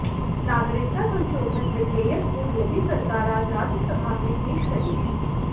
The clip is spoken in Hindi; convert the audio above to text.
नागरिकता संशोधन विधेयक को मोदी सरकार आज राज्यसभा में पेश करेगी